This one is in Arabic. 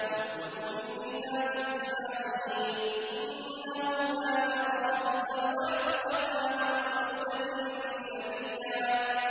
وَاذْكُرْ فِي الْكِتَابِ إِسْمَاعِيلَ ۚ إِنَّهُ كَانَ صَادِقَ الْوَعْدِ وَكَانَ رَسُولًا نَّبِيًّا